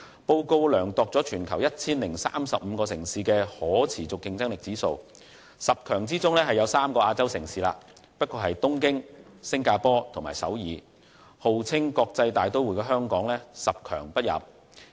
報告量度了全球 1,035 個城市的可持續競爭力指數，在十強中有3個是亞洲城市，但只不過是東京、新加坡和首爾，號稱國際大都會的香港卻十強不入。